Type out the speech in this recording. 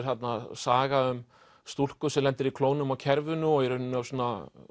þarna saga um stúlku sem lendir í klónum á kerfinu og í rauninni á svona